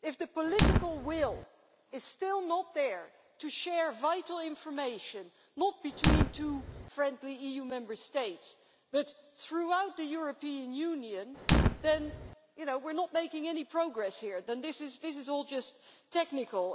If the political will is still not there to share vital information, not between two friendly EU Member States, but throughout the European Union, then we are not making any progress here, and then this is all just technical.